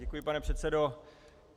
Děkuji, pane předsedo.